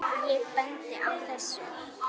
Ég bendi á þessi